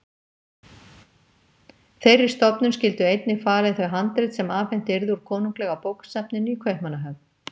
Þeirri stofnun skyldu einnig falin þau handrit sem afhent yrðu úr Konunglega bókasafninu í Kaupmannahöfn.